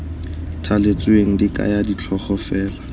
thaletsweng di kaya ditlhogo fela